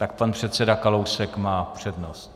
Tak pan předseda Kalousek má přednost.